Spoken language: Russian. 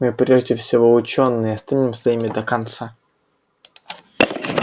мы прежде всего учёные и останемся ими до конца